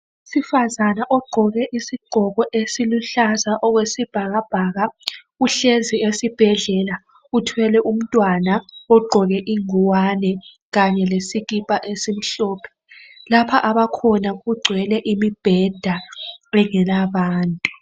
Owesifazana ogqoke isigqoko esiluhlaza okwesibhakabhaka uhlezi esibhedlela uthwele umntwana ogqoke inguwane kanye lesikipa esimhlophe. Lapha abakhona kugcwele imibheda engelabantu.